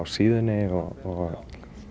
síðunni og